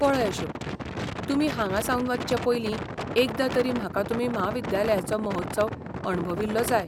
पळय अशोक, तुमी हांगासावन वचचें पयली एकदां तरी म्हाका तुमी म्हाविद्यालयचो महोत्सव अणभविल्लो जाय.